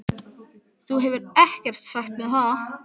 Þú hefur ekkert sagt mér það!